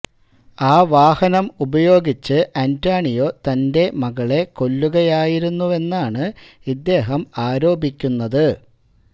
ആ വാഹനം ഉപയോഗിച്ച് അന്റോണിയോ തന്റെ മകളെ കൊല്ലുകയായിരുന്നുവെന്നാണ് ഇദ്ദേഹം ആരോപിക്കുന്നത്